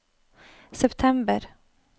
september